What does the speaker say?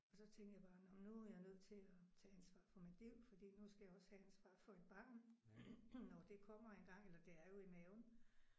Og så tænkte jeg bare nåh men nu er jeg nødt til at tage ansvar for mit liv fordi nu skal jeg også have ansvar for et barn når det kommer en gang eller det er jo i maven